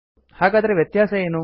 ಹಾಗಾದರೆ ವ್ಯತ್ಯಾಸ ಏನು